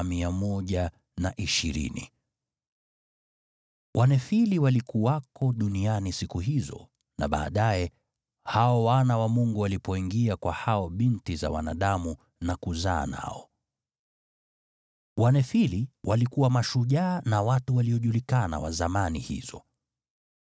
Wanefili walikuwako duniani siku hizo, na baadaye, hao wana wa Mungu walipoingia kwa binti za wanadamu na kuzaa nao. Wanefili walikuwa mashujaa na watu waliojulikana wa zamani hizo.